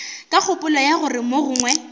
ka kgopolo ya gore mogongwe